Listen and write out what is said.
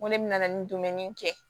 Ŋo ne bɛna nin dumuni kɛ